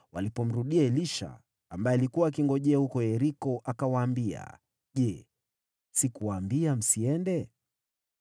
Walipomrudia Elisha, ambaye alikuwa akingojea huko Yeriko, akawaambia, “Je, sikuwaambia msiende?”